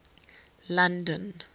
london